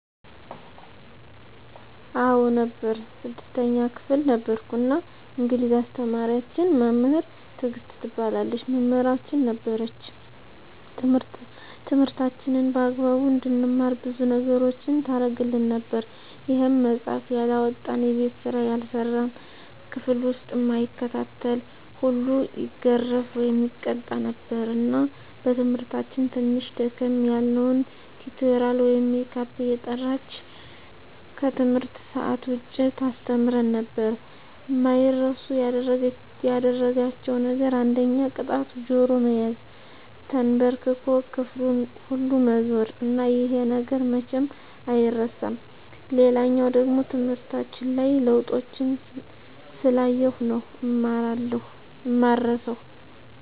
አዎ ነበር 6ተኛ ክፍል ነበርኩ እና እንግሊዝ አስተማሪያችን መምህር ትግስት ትባላለች መምህራችን ነበረች ትምህርታችንን በአግባቡ እንድንማር ብዙ ነገሮችን ታረግልን ነበር ይሄም መፃሐፍ ያላመጣ፣ የቤት ስራ ያልሰራ፣ ክፍል ዉስጥ እማይከታተል ሁሉ ይገረፍ( ይቀጣ ) ነበር እና በትምህርታችን ትንሽ ደከም ያልነዉን ቲቶሪያል ወይም ሜካፕ እየጠራች ከትምህርት ሰአት ዉጭ ታስተምረን ነበር። አማይረሱ ያደረጋቸዉ ነገር አንደኛ ቅጣቱ ጆሮ መያዝ፣ ተንበርክኮ ክፍሉን ሁሉ መዞር እና ይሄ ነገር መቼም አይረሳም። ሌላኛዉ ደሞ ትምህርታችን ላይ ለዉጦችን ስላየሁ ነዉ እማረሳዉ።